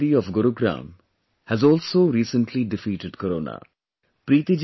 Preeti Chaturvedi of Gurugram has also recently defeated Corona